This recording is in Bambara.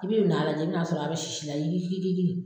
I bɛ n'a lajɛ i bɛ n'a sɔrɔ a bɛ sisi la yikikiki!